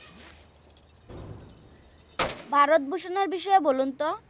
ভারত ভুসন এর বিষয়েও বলুন তো?